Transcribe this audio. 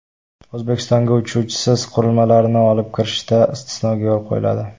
O‘zbekistonga uchuvchisiz qurilmalarni olib kirishda istisnoga yo‘l qo‘yiladi .